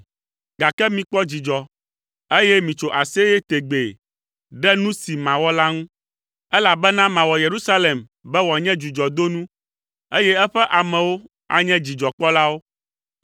gake mikpɔ dzidzɔ, eye mitso aseye tegbee ɖe nu si mawɔ la ŋu, elabena mawɔ Yerusalem be wòanye dzudzɔdonu, eye eƒe amewo anye dzidzɔkpɔlawo.